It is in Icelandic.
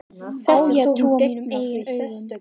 Á ég að trúa mínum eigin augum?